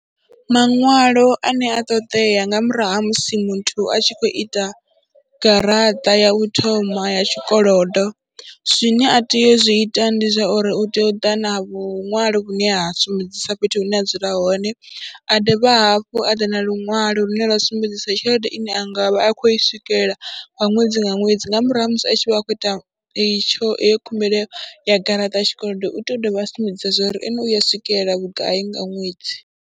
Maṅwalo ane a ṱoḓea nga murahu ha musi muthu a tshi khou ita garaṱa ya u thoma ya tshikolodo zwine a tea u zwi ita ndi zwa uri u tea u ḓa na vhuṅwali vhune ha sumbedzisa fhethu hune a dzula hone, a dovha hafhu a ḓa na luṅwalo lune lwa sumbedzisa tshelede ine a nga vha a khou i swikelela nga ṅwedzi nga ṅwedzi nga murahu ha musi a tshi vha a khou ita i tsho, heyo khumbelo ya garaṱa ya tshikolodo. U tea u dovha a sumbedza zwo ri ene u ya swikelela vhugai nga ṅwedzi.